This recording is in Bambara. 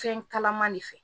Fɛn kalaman de fɛ